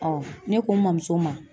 ne ko n mamuso ma